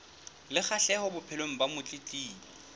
le kgahleho bophelong ba motletlebi